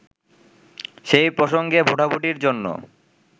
সেই প্রসঙ্গে ভোটাভুটির জন্য